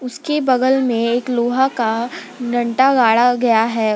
उसके बगल में एक लोहा का डंटा गाढ़ा गया है।